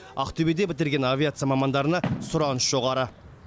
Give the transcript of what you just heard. ақтөбеде бітірген авиация мамандарына сұраныс жоғары